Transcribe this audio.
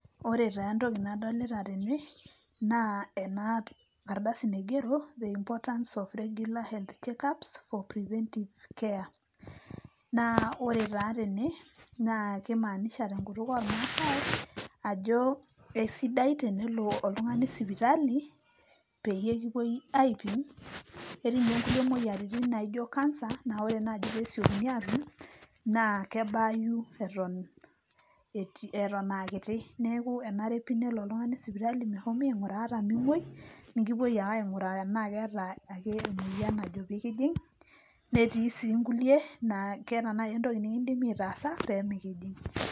Ore taa entoki nadolita tene naa enaa ardasi naigero the importance of regular health check ups for preventive care. Naa ore taa tene kimaanisha tenkutuk ormaasae ajo kesidai tenelo oltungani sipitali peyie kipuoi aipim .Etii ninye kulie moyiaritin naijo cancer naa ore naji pesiokini atum naa kebaayu eton, eton aa kiti .Neeku enare pi nelo oltungani sipitali mehomi ainguraa ata memwoi ,nikipuoi ake ainguraa tenaa keeta ake emoyian najo peekijing, netii sii inkulie naa keeta naji entoki nikidimi aitaasa pemikijing.